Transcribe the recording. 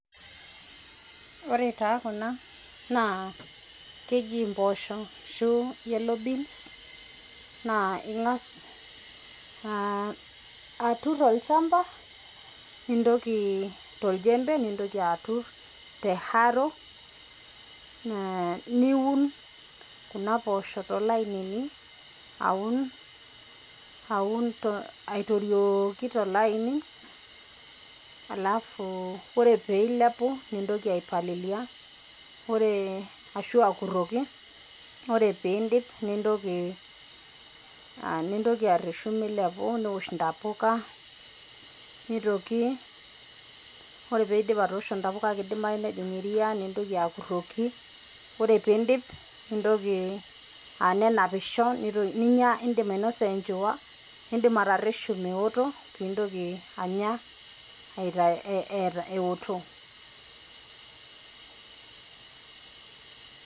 Ore taa kuna naa keji imbosho ashu yellow beans naa ing'as aaturr irchamba to ljembe nintoki aaturr te arrow niun kuna posho to lainini auna aitoliooki to laini alafu ore peiliapu nintoki aipalilia ore ashu akuroki, ore piindip nintoki areshu meiliapu neosh ntapuka neitoki ore peidip atoosho intapuka nejing' iria niintoki akuroki, ore piidip nintoki aa nenapisho ninya iindim ainosie enchuuwa, niindim ateresho meoto piintoki anya eoto.